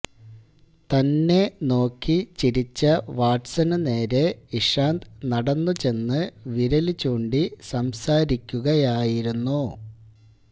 തന്നെ നോക്കി ചിരിച്ച വാട്സണു നേരെ ഇഷാന്ത് നടന്നുചെന്ന് വിരല് ചൂണ്ടി സംസാരിക്കുകയായിരുന്നു